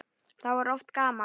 Þá var oft gaman.